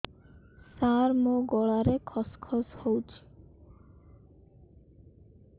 ସାର ମୋ ଗଳାରେ ଖସ ଖସ ହଉଚି